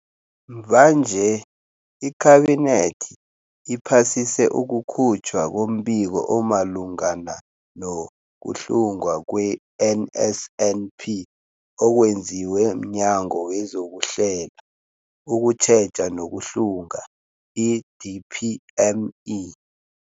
Mvanje, iKhabinethi iphasise ukukhutjhwa kombiko omalungana nokuhlungwa kwe-NSNP okwenziwe mNyango wezokuHlela, ukuTjheja nokuHlunga, i-DPME.